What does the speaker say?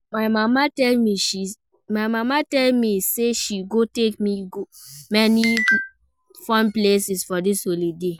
My mama tell me say she go take me go many fun places for dis holiday